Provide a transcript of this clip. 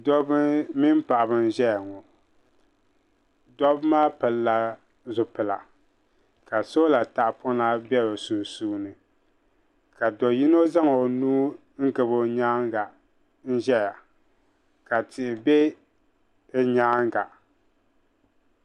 Dobbi mini paɣiba n-ʒeya ŋɔ dobba maa pilila zipila ka sola tahapɔna be bɛ sunsuuni ka do yino zaŋ o nuu n-gabi o nyaaŋa n-ʒeya ka tihi be bɛ nyaaŋa.